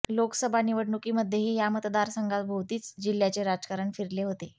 लोकसभा निवडणुकीमध्येही या मतदारसंघाभोवतीच जिह्याचे राजकारण फिरले होते